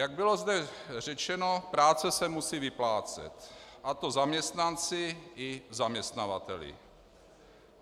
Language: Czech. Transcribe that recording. Jak zde bylo řečeno, práce se musí vyplácet, a to zaměstnanci i zaměstnavateli.